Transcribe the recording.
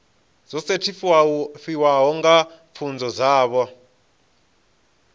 dzo sethifaiwaho dza pfunzo dzavho